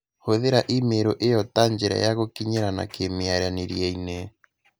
Hūthīra i-mīrū īo ta njīra ya gūkinyīranaga kīmīaranīrie-inī